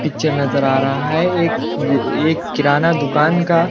picture नजर आ रहा है एक एक किराना दुकान का--